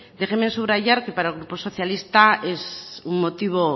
déjenme subrayar que para el grupo socialista es un motivo